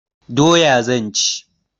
Doya zan ci.